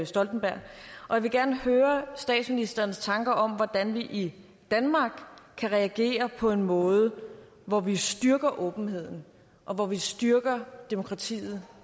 stoltenberg og jeg vil gerne høre statsministerens tanker om hvordan vi i danmark kan reagere på en måde hvor vi styrker åbenheden og hvor vi styrker demokratiet